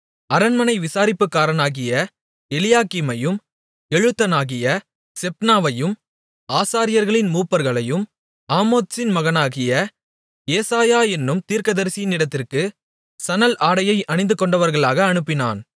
அரண்மனை விசாரிப்புக்காரனாகிய எலியாக்கீமையும் எழுத்தனாகிய செப்னாவையும் ஆசாரியர்களின் மூப்பர்களையும் ஆமோத்சின் மகனாகிய ஏசாயா என்னும் தீர்க்கதரிசியினிடத்திற்கு சணல் ஆடையை அணிந்துகொண்டவர்களாக அனுப்பினான்